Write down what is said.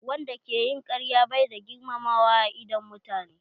Wanda ke yin karya bai da girmamawa a idon mutane.